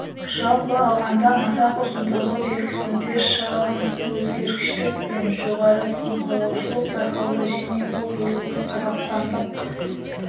жалпы алғанда масақ ұзындығы белгісінде шағын өзгергіштік пен жоғары тұқым қуалаушылық байқалды және бұл белгі қазақстандық